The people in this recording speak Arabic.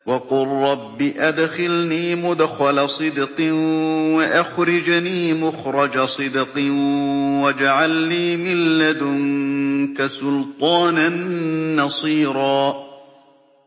وَقُل رَّبِّ أَدْخِلْنِي مُدْخَلَ صِدْقٍ وَأَخْرِجْنِي مُخْرَجَ صِدْقٍ وَاجْعَل لِّي مِن لَّدُنكَ سُلْطَانًا نَّصِيرًا